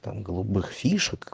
там голубых фишек